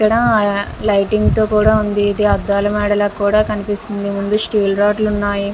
ఇక్కడ లైటింగ్ కూడా ఉంది. ఇది అద్దాల మెడ లా కూడా కనిపిస్తుంది. ముందు స్టీల్ రాడ్ లు ఉన్నాయి.